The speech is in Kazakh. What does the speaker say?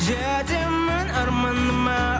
жетемін арманыма